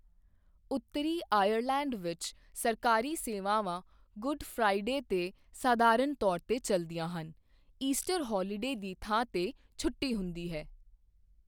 ਉੱਤਰੀ ਆਇਰਲੈਂਡ ਵਿੱਚ ਸਰਕਾਰੀ ਸੇਵਾਵਾਂ ਗੁੱਡ ਫ੍ਰਾਈਡੇ ਤੇ ਸਾਧਰਣ ਤੌਰ ਤੇ ਚਲਦਿਆਂ ਹਨ, ਈਸਟਰ ਹੌਲੀਡੇ ਦੀ ਥਾਂ ਤੇ ਛੁੱਟੀ ਹੁੰਦੀ ਹੈ I